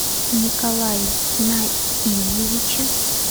николае наильевиче